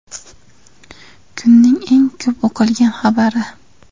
Kunning eng ko‘p o‘qilgan xabari!